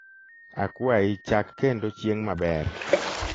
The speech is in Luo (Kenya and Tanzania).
akwayi chak kendo chieng maber